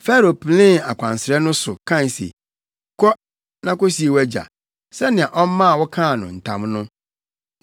Farao penee akwansrɛ no so, kae se, “Kɔ na kosie wʼagya, sɛnea ɔmaa wo kaa no ntam no.”